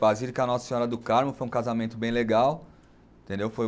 Basílica Nossa Senhora do Carmo, foi um casamento bem legal. Entendeu, foi